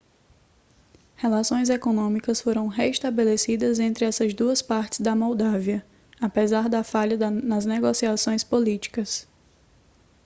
relações econômicas foram restabelecidas entre essas duas partes da moldávia apesar da falha nas negociações políticas